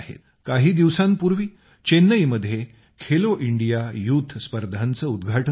काही दिवसांपूर्वी चेन्नईमध्ये खेलो इंडिया यूथ स्पर्धांचे उद्घाटन झालं